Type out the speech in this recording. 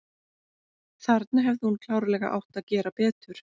Þarna hefði hún klárlega átt að gera betur.